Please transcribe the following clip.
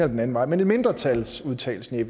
den anden vej men en mindretalsudtalelse i